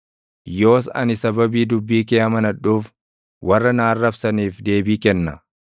yoos ani sababii dubbii kee amanadhuuf, warra na arrabsaniif deebii kenna.